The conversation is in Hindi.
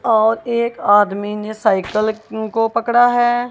और एक आदमी ने साइकल इनको पकड़ा है।